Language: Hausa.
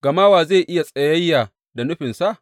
Gama wa zai iya tsayayya da nufinsa?